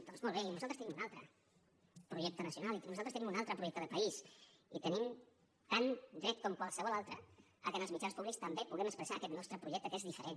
doncs molt bé i nosaltres tenim un altre projecte nacional i nosaltres tenim un altre projecte de país i tenim tan dret com qualsevol altre que en els mitjans públics també puguem expressar aquest nostre projecte que és diferent